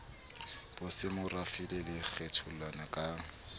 bosemorafe le sa kgetholleng ka